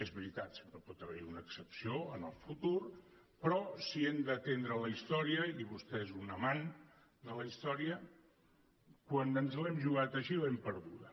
és veritat sempre pot haver hi una excepció en el futur però si hem d’atendre a la història i vostè és un amant de la història quan ens l’hem jugat així l’hem perduda